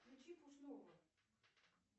включи пушного